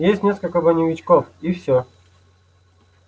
есть несколько броневичков и всё